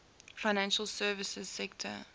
financial services sector